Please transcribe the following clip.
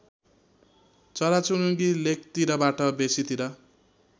चराचुरुङ्गी लेकतिरबाट बेसीतिर